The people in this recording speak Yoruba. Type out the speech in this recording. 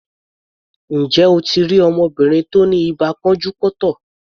Ǹjẹ́ o ti rí ọmọbìnrin tí ó ni ibà pọ́njú-pọ́ntọ̀?